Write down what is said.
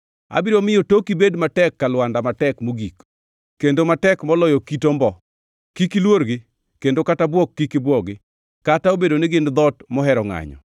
Abiro miyo toki bed matek ka lwanda matek mogik, kendo matek moloyo kit ombo. Kik iluorgi kendo kata bwok kik ibwogi, kata obedo ni gin dhoot mohero ngʼanyo.